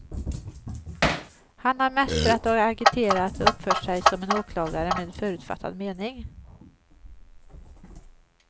Han har mästrat och agiterat och uppfört sig som en åklagare med förutfattad mening.